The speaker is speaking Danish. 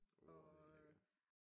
Åh det er lækkert